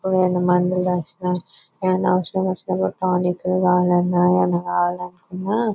ఏమన్నా మందులు కావల్సిన ఏమన్నా అవసరం వచ్చిన ఏమన్నా టానిక్ ఎమ్అన్న కావాలనుకున్న --